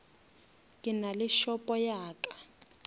ke nale shopo ya ka